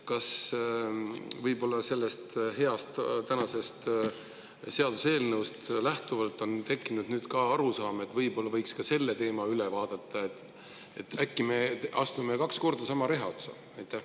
Kas võib-olla sellest heast tänasest seaduseelnõust lähtuvalt on tekkinud nüüd ka arusaam, et võiks selle teema üle vaadata, et äkki me astume kaks korda sama reha otsa?